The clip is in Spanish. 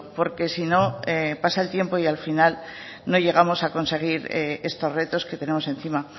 porque si no pasa el tiempo y al final no llegamos a conseguir estos retos que tenemos encima